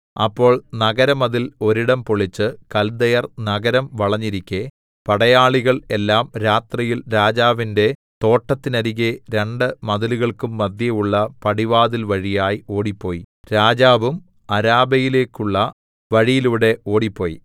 അപ്പോൾ നഗരമതിൽ ഒരിടം പൊളിച്ച് കൽദയർ നഗരം വളഞ്ഞിരിക്കെ പടയാളികൾ എല്ലാം രാത്രിയിൽ രാജാവിന്റെ തോട്ടത്തിനരികെ രണ്ട് മതിലുകൾക്കും മദ്ധ്യേയുള്ള പടിവാതിൽ വഴിയായി ഓടിപ്പോയി രാജാവും അരാബയിലേക്കുള്ള വഴിയിലൂടെ ഓടിപ്പോയി